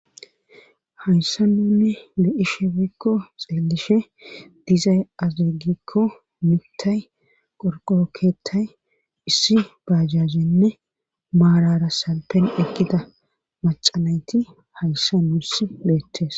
Hayssan nuuni be7ishe woykko xeellishe dizay giikko mittay qorqqoro keettay issi baajaajenne maarara salfen eqqida macca nayti hayssan nuussi beettees.